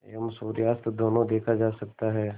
एवं सूर्यास्त दोनों देखा जा सकता है